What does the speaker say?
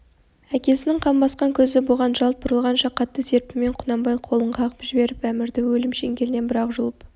әкесінің қан басқан көзі бұған жалт бұрылғанша қатты серпінмен құнанбай қолын қағып жіберіп әмірді өлім шеңгелінен бір-ақ жұлып